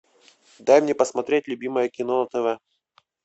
дай мне посмотреть любимое кино на тв